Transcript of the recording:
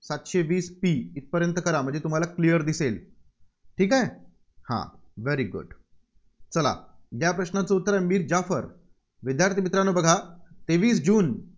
सातशे वीस p इथंपर्यंत करा. म्हणजे तुम्हाला Clear दिसेल. ठीक आहे? हा. very good चला या प्रश्नाचं उत्तर मीर जाफर. विद्यार्थी मित्रांनो बघा तेवीस जून